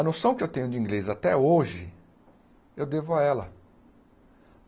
A noção que eu tenho de inglês até hoje, eu devo a ela.